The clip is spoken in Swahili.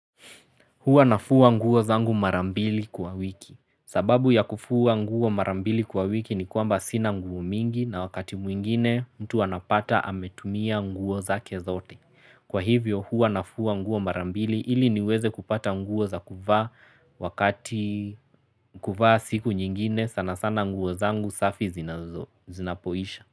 Hua nafua nguo zangu marambili kwa wiki. Sababu ya kufua nguo marambili kwa wiki ni kwamba sina nguo mingi na wakati mwingine mtu anapata ametumia nguo zake zote. Kwa hivyo huwa nafua nguo marambili ili niweze kupata nguo za kuva wakati kuva siku nyingine sana sana nguo zangu safi zinapoisha.